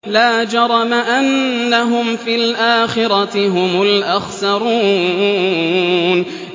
لَا جَرَمَ أَنَّهُمْ فِي الْآخِرَةِ هُمُ الْأَخْسَرُونَ